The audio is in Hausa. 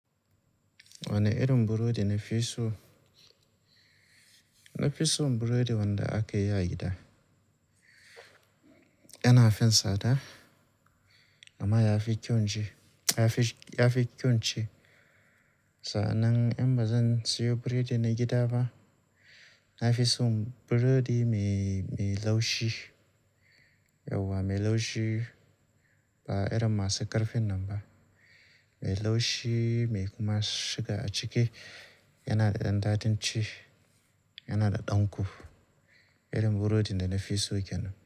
Wane irin burodi na fi so? Na fi son burodi wanda aka yi a gida. Yana fin tsa da amma ya fi kyau, ya fi kyau ce. Sa'nan in bazan sayo burodi na gida ba, na fi son burodi mai, mai laushi, yauwa mai laushi ba irin masu ƙarfin nan ba. Mai laushi mai kuma suga a ciki yana da ɗan dadin ci, yana da ɗanƙu. Irin burodin da na fi so kenan.